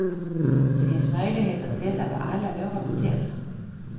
Det finns möjligheter till detta på alla våra hotell.